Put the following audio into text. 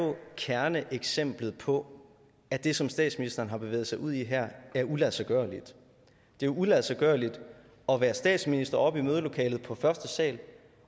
kerneeksemplet på at det som statsministeren har bevæget sig ud i her er uladsiggørligt det er uladsiggørligt at være statsminister oppe i mødelokalet på første sal